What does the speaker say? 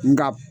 Nka